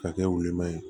Ka kɛ woloma ye